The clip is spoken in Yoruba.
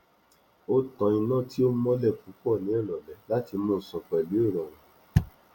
o tan iná tí ò mọlẹ púpọ ní ìrọlẹ láti mú sùn pẹlú ìrọrùn